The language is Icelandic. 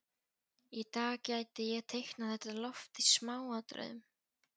Í dag gæti ég teiknað þetta loft í smáatriðum.